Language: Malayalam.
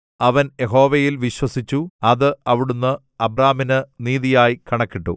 അവൻ യഹോവയിൽ വിശ്വസിച്ചു അത് അവിടുന്ന് അബ്രാമിന് നീതിയായി കണക്കിട്ടു